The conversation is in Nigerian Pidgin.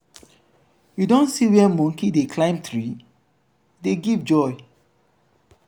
you don see where monkey dey climb tree? e dey give joy.